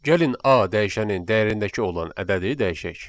Gəlin A dəyişənin dəyərindəki olan ədədi dəyişək.